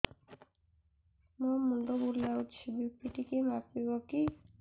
ମୋ ମୁଣ୍ଡ ବୁଲାଉଛି ବି.ପି ଟିକିଏ ମାପିବ କି